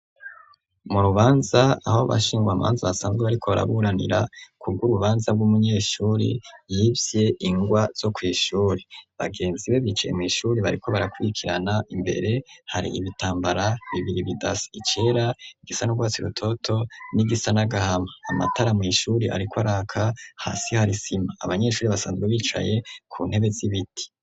Mu rubanza aho bashingwa amanzu asanzwe ariko baraburanira kubwo urubanza bw'umunyeshuri yivye ingwa zo kw'ishuri, bagenzi be bicaye mw'ishuri bariko barakwikirana imbere hari ibitambara bibiri bidasi icera igisa n'urwatsi rutoto n'igisa n'agahama, amatara mw'ishuri ariko araka hasi harisima abanyeshuri basanzwe bicaye ku ntebe z'ibiti.